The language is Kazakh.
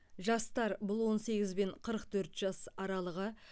жастар бұл он сегіз бен қырық төрт жас аралығы